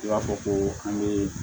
I b'a fɔ ko an bɛ